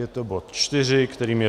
Je to bod 4, kterým je